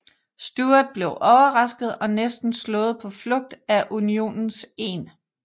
Stuart blev overrasket og næsten slået på flugt af Unionens 1